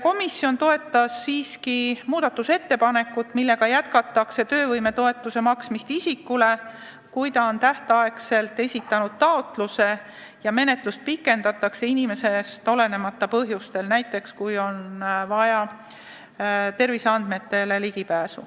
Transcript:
Komisjon toetas siiski muudatusettepanekut, millega jätkatakse töövõimetoetuse maksmist isikule, kui ta on tähtajaks taotluse esitanud ja menetlust pikendatakse inimesest olenemata põhjustel, näiteks kui on vaja ligipääsu terviseandmetele.